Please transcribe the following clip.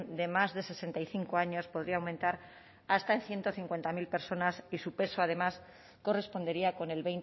de más de sesenta y cinco años podría aumentar hasta en ciento cincuenta mil personas y su peso además correspondería con el